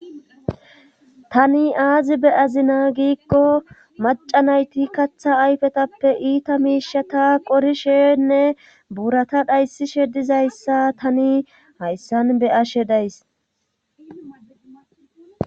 tani aazi be'azina giikko maca nayti katha ayfetappe iita miishata qorishenne buurata dhayssishe dizayssa tani hayssan be'ashe days